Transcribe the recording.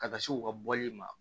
Ka taa se u ka bɔli ma